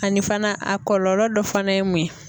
Ani fana a kɔlɔlɔ dɔ fana ye mun ye?